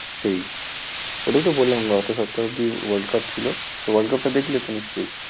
সেই। ওটাই তো বললাম গত সপ্তাহ অব্দি world cup ছিল, তো world cup টা দেখলে তো নিশ্চয়ই।